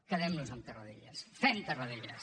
quedem nos amb tarradellas fem tarradellas